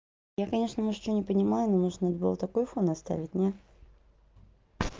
я конечно может что не понимаю но нужно было такой фон оставить не